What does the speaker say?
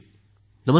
Namaste sir